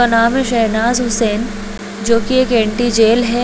का नाम हैसहनाज हुसैन जो की एक ऐंटि जेल है